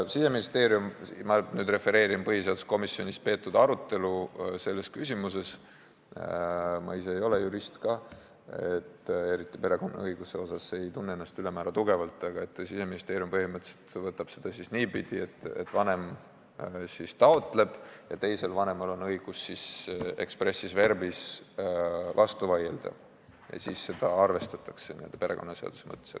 Siseministeerium – ma nüüd refereerin põhiseaduskomisjonis selles küsimuses peetud arutelu, ma ise ei ole jurist ja perekonnaõiguses ennast ülemäära tugevalt ei tunne – käsitleb seda siis põhimõtteliselt niipidi, et üks vanem taotleb ja teisel vanemal on õigus expressis verbis vastu vaielda ja seda arvestatakse perekonnaseaduse mõttes.